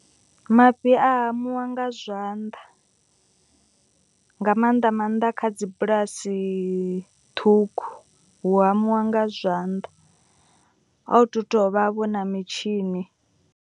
Mafhi a hamiwa nga zwanḓa nga maanḓa maanḓa kha dzi bulasi ṱhukhu. Hu hamiwa nga zwanḓa a hu tu tovha vho na mitshini.